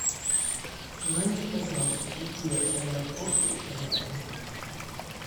узнайте пожалуйста какие аэропорты рядом